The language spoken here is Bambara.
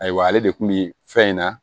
Ayiwa ale de kun bi fɛn in na